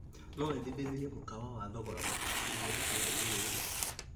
No wendithĩrĩrie mũkawa wa thogora mũbacĩrĩre itũra-inĩ rĩrĩ?